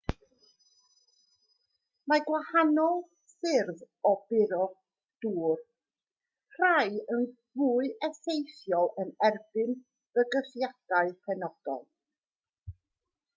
mae gwahanol ffyrdd o buro dŵr rhai yn fwy effeithiol yn erbyn bygythiadau penodol